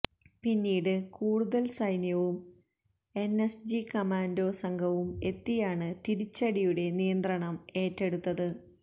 പിന്നീട് കൂടുതൽ സൈന്യവും എൻഎസ്ജി കമാൻഡോ സംഘവും എത്തിയാണ് തിരിച്ചടിയുടെ നിയന്ത്രണം ഏറ്റെടുത്തത്